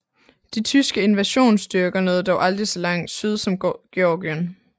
De tyske invasionsstyrker nåede dog aldrig så langt syd som Georgien